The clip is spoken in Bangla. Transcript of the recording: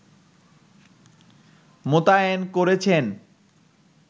মোতায়েন করেছেন